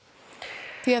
því